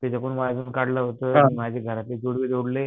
त्याचे पण काढलं होत माझे घरातले जोडले